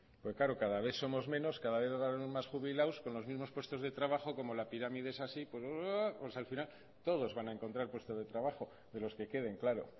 claro cada vez somos menos cada vez va a haber más jubilados con los mimos puestos de trabajo como la pirámide es así pues al final todos vamos a encontrar puestos de trabajo de los que queden claro